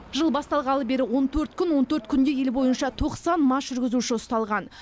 жыл басталғалы бері он төрт күн он төрт күнде ел бойынша тоқсан мас жүргізуші ұсталған